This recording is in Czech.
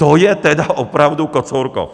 To je tedy opravdu Kocourkov!